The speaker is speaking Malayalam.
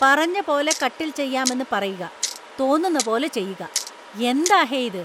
പറഞ്ഞ പോലെ കട്ടില്‍ ചെയ്യാമെന്ന് പറയുക. തോന്നുന്ന പോലെ ചെയ്യുക. എന്താ ഹേ ഇത്?